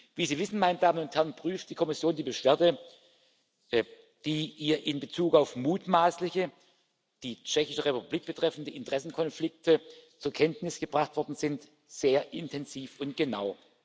Wie Sie wissen, meine Damen und Herren, prüft die Kommission die Beschwerde, die ihr in Bezug auf mutmaßliche die Tschechische Republik betreffende Interessenkonflikte zur Kenntnis gebracht worden sind, sehr intensiv und genau.